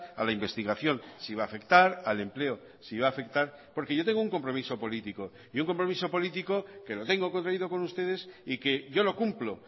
a la investigación si va a afectar al empleo si va a afectar porque yo tengo un compromiso político y un compromiso político que lo tengo contraído con ustedes y que yo lo cumplo